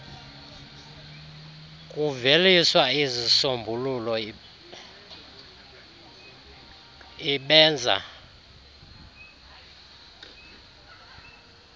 kuveliswa izisombululp ibenza